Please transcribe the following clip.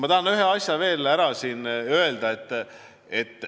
Ma tahan ühe asja veel ära öelda.